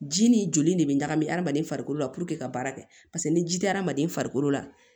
Ji ni joli de bɛ ɲagami hadamaden farikolo la puruke ka baara kɛ paseke ni ji tɛ hadamaden farikolo la